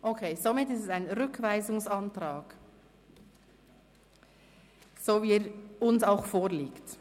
Momentan ist es also eine Rückweisung, so wie uns der Antrag auch vorliegt.